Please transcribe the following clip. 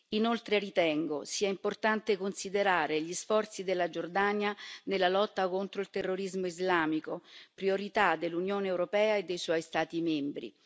Inoltre, ritengo sia importante considerare gli sforzi della Giordania nella lotta contro il terrorismo islamico, priorità dell'Unione europea e dei suoi Stati membri.